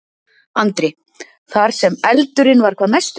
Andri: Þar sem eldurinn var hvað mestur?